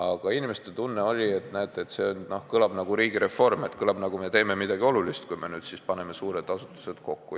Aga inimeste tunne oli, et näete, see kõlab nagu riigireform, on mulje, et me teeme midagi olulist, kui me paneme suured asutused kokku.